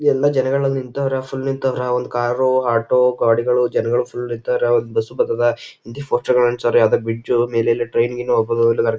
ಎಲ್ಲ ಜನಗಳೆಲ ನಿಂತವರ ಫುಲ್ ನಿಂತವರ ಒಂದ್ ಕಾರ್ ಆಟೋ ಗಾಡಿಗಳು ಜನಗಳು ಫುಲ್ ನಿಂತವರ ಒಂದ್ ಬಸ್ ಬರ್ತದ ಹಿಂದಿ ಪೋಸ್ಟರ್ ಗಳು ಅಂಟಿಸವಾರ ಅದಕ್ ಬ್ರಿಜ್ ಮೇಲೆ ಎಲ್ಲ ಟ್ರೈನ್ ಗಿನ್ ಹೋಗ್ಬಹುದು.